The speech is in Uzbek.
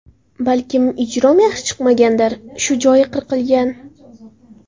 Balkim ijrom yaxshi chiqmagandir... Shu joyi qirqilgan.